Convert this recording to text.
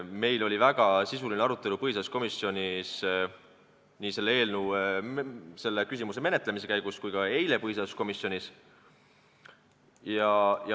Meil oli väga sisuline arutelu põhiseaduskomisjonis nii selle küsimuse menetluse käigus kui ka eile.